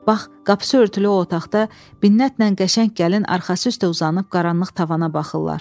Bax, qapısı örtülü o otaqda Binnətlə qəşəng gəlin arxası üstə uzanıb qaranlıq tavana baxırlar.